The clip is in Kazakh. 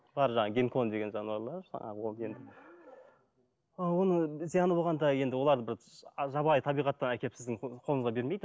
бар жаңағы гинкон деген жануарлар жаңағы ол оның зияны болғанда енді оларды бір жабайы табиғаттан әкеліп сіздің қолыңызға бермейді